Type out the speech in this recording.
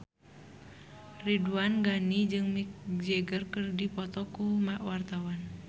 Ridwan Ghani jeung Mick Jagger keur dipoto ku wartawan